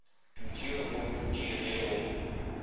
dutšwe go dutšwe ge go